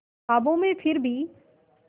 ख्वाबों में फिर भी